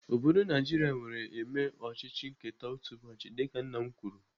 Obodo Naijiria nwere eme ọchịchị nketa otu ụbọchị dịka nna m kwuru.